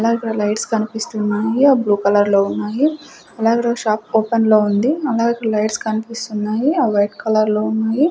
అలాగే ఇక్కడ లైట్స్ కనిపిస్తున్నాయి అవి బ్లూ కలర్ లో ఉన్నాయి అలాగే ఈ రోజు షాప్ ఓపెన్ లో ఉంది అలాగే లైట్స్ కనిపిస్తున్నాయి అవి వైట్ కలర్ లో ఉన్నాయి.